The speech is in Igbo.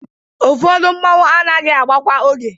Ụfọdụ mmọnwụ anaghị agba kwa oge.